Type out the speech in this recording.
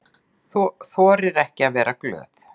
Þorir ekki að vera glöð.